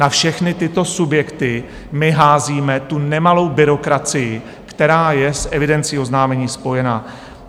Na všechny tyto subjekty my házíme tu nemalou byrokracii, která je s evidencí oznámení spojena.